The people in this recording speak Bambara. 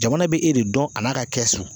Jamana bɛ e de dɔn a n'a ka kɛsu.